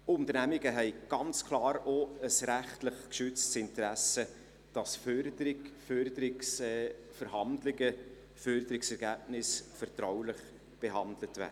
Unternehmungen haben ganz klar auch ein rechtlich geschütztes Interesse, dass Förderung, Förderungsverhandlungen, Förderungsergebnisse vertraulich behandelt werden.